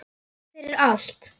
Ég þakka þér fyrir allt.